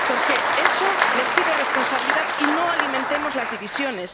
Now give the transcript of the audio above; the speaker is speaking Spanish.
Por eso les pido responsabilidad y que no alimentemos las divisiones.